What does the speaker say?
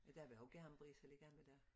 Der vl også er en briks at ligge an til dér